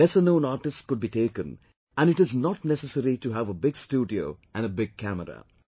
Lesser known artists could be taken and it is not necessary to have a big studio and a big camera